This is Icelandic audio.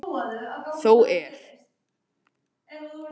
Þó er.